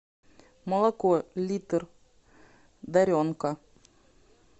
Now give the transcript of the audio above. молоко литр даренка